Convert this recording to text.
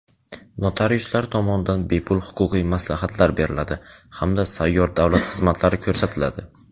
notariuslar tomonidan bepul huquqiy maslahatlar beriladi hamda sayyor davlat xizmatlari ko‘rsatiladi.